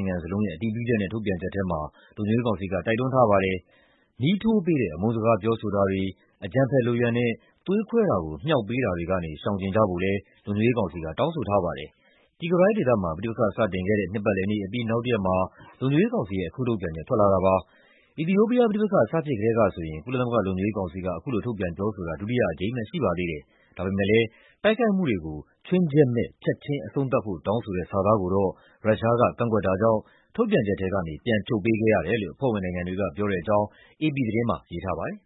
င်ငံလုံးရဲ့ အတည်ပြုချက်နဲ့ ထုတ်ပြန်ချက်ထဲမှာ လုံခြုံရေးကောင်စီက တိုက်တွန်းထားပါတယ်။ "မီးထိုးပေးတဲ့ အမုန်းစကား ပြောဆိုတာတွေ၊ အကြမ်းဖက်လုပ်ရပ်နဲ့ သွေးခွဲတာကို မြှောက်ပေးတာတွေကနေ ရှောင်ကြဉ်ကြဖို့" လည်း လုံခြုံရေးကောင်စီက တောင်းဆိုထားပါတယ်။ Tigray ဒေသမှာ ပဋိပက္ခ စတင်ခဲ့တဲ့ နှစ်ပတ်လည်နေ့အပြီး နောက်တရက်မှာ လုံခြုံရေးကောင်စီရဲ့ အခုထုတ်ပြန်ချက် ထွက်လာတာပါ။ အီသီယိုးပီးယား ပဋိပက္ခ စဖြစ်ကတည်းကဆိုရင် ကုလသမဂ္ဂ လုံခြုံရေးကောင်စီက အခုလို ထုတ်ပြန်ပြောဆိုတာ ဒုတိယအကြိမ်ပဲ ရှိပါသေးတယ်။ ဒါပေမယ့်လည်း တိုက်ခိုက်မှုတွေကို ‘ခြွင်းချက်မဲ့’ ‘ချက်ချင်း’ အဆုံးသတ်ဖို့ တောင်းဆိုတဲ့ စာသားကိုတော့ ရုရှားက ကန့်ကွက်တာကြောင့် ထုတ်ပြန်ချက်ထဲကနေ ပြန်ဖြုတ်ပေးခဲ့ရတယ်လို့ အဖွဲ့ဝင်နိုင်ငံတွေက ပြောတဲ့အကြောင်း အေပီသတင်းမှာ ရေးထားပါတယ်